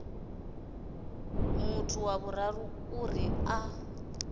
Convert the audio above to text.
muthu wa vhuraru uri a